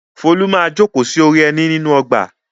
Folú máa jókòó sí orí ẹní nínú ọgbà.